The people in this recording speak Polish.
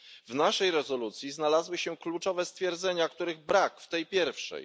W naszej rezolucji znalazły się istotne stwierdzenia, których brak w tej pierwszej.